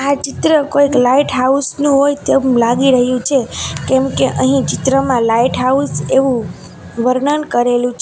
આ ચિત્ર કોઈક લાઈટ હાઉસ નુ હોય તેમ લાગી રહ્યું છે કેમકે અહીં ચિત્રમાં લાઈટ હાઉસ એવું વર્ણન કરેલું છે.